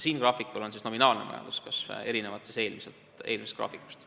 Siinsel graafikul on erinevalt eelmisest graafikust näidatud nominaalne majanduskasv.